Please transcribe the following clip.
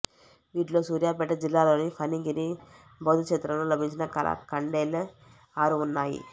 వీటిలో సూర్యాపేట జిల్లాలోని ఫణిగిరి బౌద్ధక్షేత్రంలో లభించిన కళాఖండాలే ఆరు ఉన్నాయి